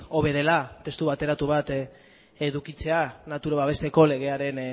hobe dela testu bateratu bat edukitzea natura babesteko legearen